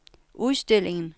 udstillingen